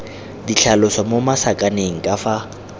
ditlhaloso mo masakaneng ka fa